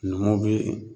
Numuw bɛ